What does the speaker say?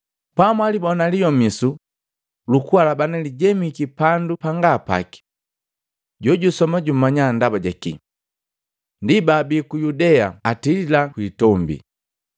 “Pamwalibona Liyomisu lukualabana lijemiki pandu panga paki,” Jojusoma jumanya ndaba jaki. “Ndi, baabii ku Yudea atililaa kwitombi.